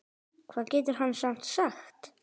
Hvað getur hann samt sagt?